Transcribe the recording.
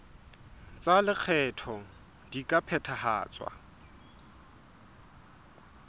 tsa lekgetho di ka phethahatswa